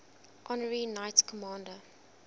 honorary knights commander